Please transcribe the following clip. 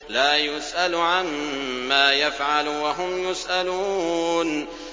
لَا يُسْأَلُ عَمَّا يَفْعَلُ وَهُمْ يُسْأَلُونَ